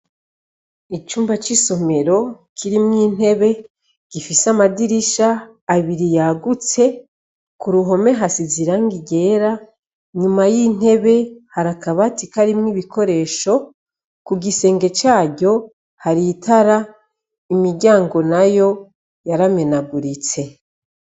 Icumba cisomero kirimwintebe gifise amadirisha abiri yagutse kurohome hasize irangi ryera inyuma yintebe hari akabati karimwo ibikoresho kugisenge caryo hari itara imiryango nayo yaramenaguritse